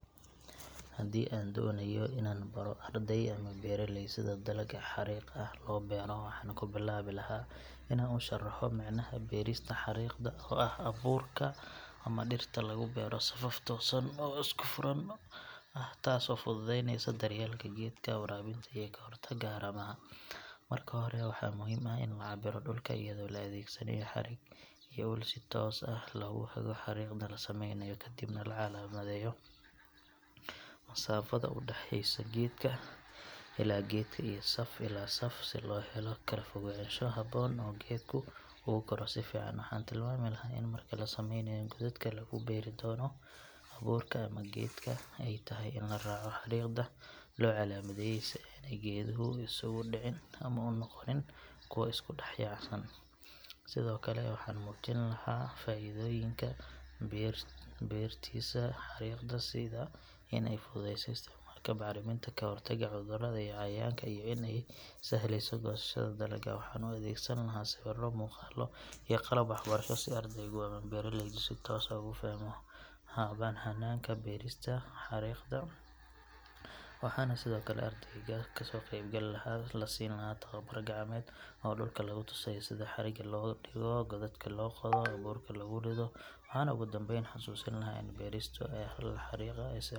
Haddii aan doonayo inaan baro arday ama beeraley sida dalagga xariiq ah loo beero waxaan ku bilaabi lahaa inaan u sharaxo micnaha beerista xariiqda oo ah in abuurka ama dhirta lagu beero safaf toosan oo isku furan ah taasoo fududeynaysa daryeelka geedka, waraabinta iyo ka hortagga haramaha. Marka hore waxaa muhiim ah in la cabbiro dhulka iyadoo la adeegsanayo xarig iyo ul si toos ah loogu hago xariiqda la sameynayo kadibna la calaamadeeyo masaafada u dhaxaysa geedka ilaa geedka iyo saf ilaa saf si loo helo kala fogaansho habboon oo geedku ugu koro si fiican. Waxaan tilmaami lahaa in marka la sameynayo godadka lagu beeri doono abuurka ama geedka ay tahay in la raaco xariiqda loo calaamadeeyay si aanay geeduhu isugu dhicin ama u noqonin kuwo isku dhex yaacsan. Sidoo kale waxaan muujin lahaa faa’iidooyinka beerista xariiqda sida in ay fududayso isticmaalka bacriminta, ka hortagga cudurrada iyo cayayaanka iyo in ay sahlayso goosashada dalagga. Waxaan u adeegsan lahaa sawirro, muuqaallo iyo qalab waxbarasho si ardaygu ama beeraleygu si toos ah ugu fahmo hanaanka beerista xariiqda waxaana sidoo kale ardayda ama ka qaybgalayaasha la siin doonaa tababar gacmeed oo dhulka lagu tusayo sida xarigga loo dhigo, godadka loo qodo iyo abuurka loogu rido. Waxaan ugu dambayn xasuusin lahaa in beerista hab xariiq ah ay sare u qaaddo .